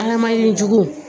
Adamaden jugu